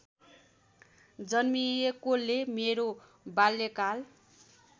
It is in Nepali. जन्मिएकोले मेरो बाल्यकाल